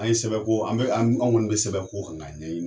An ye sɛbɛn ko an bɛ an kɔni bɛ sɛbɛn ko kan k'a ɲɛɲini.